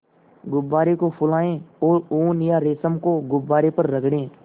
गुब्बारे को फुलाएँ और ऊन या रेशम को गुब्बारे पर रगड़ें